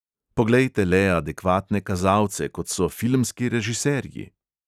Poglejte le adekvatne kazalce, kot so filmski režiserji!